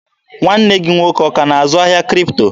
Nwanne gị nwoke ọ ka na-azụ ahịa Kripto?